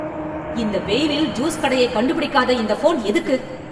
இந்த வெயிலில் ஜூஸ் கடையைக் கண்டுபிடிக்காத இந்த ஃபோன் எதுக்கு?